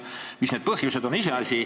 Mis need põhjused on, on iseasi.